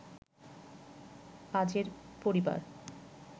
পাজের পরিবার